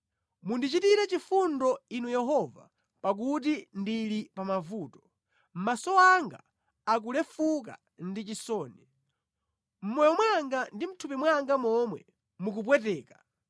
Mundichitire chifundo Inu Yehova pakuti ndili pa mavuto; maso anga akulefuka ndi chisoni, mʼmoyo mwanga ndi mʼthupi mwanga momwe mukupweteka.